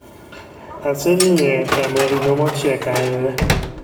Aseng'iye e chamo ring'o mochiek ahinya